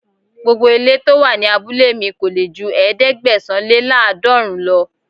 Gbogbo ilé to wà ní abúlé mi kò lè ju ẹ̀ẹ́dẹ́gbẹ̀sán-lé-láàdọọ́ọ̀rún lọ.